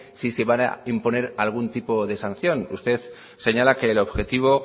si se va a imponer algún tipo de sanción usted señala que el objetivo